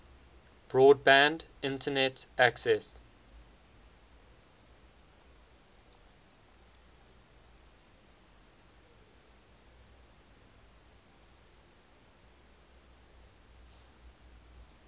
broadband internet access